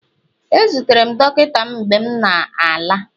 ezutere m dọkịta mgbe m na-ala